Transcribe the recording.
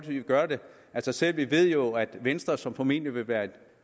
vil gøre det af sig selv vi ved jo at venstre som formentlig vil være en